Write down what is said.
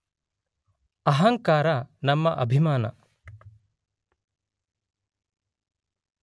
ಅಹಂಕಾರ ನಮ್ಮ ಅಭಿಮಾನ